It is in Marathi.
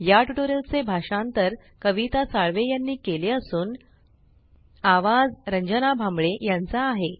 या ट्यूटोरियल चे भाषांतर कविता साळवे यांनी केले असून आवाज रंजना भांबळे यांचा आहे